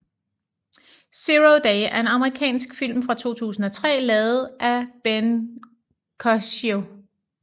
Zero Day er en Amerikansk film fra 2003 lavet af Ben Coccio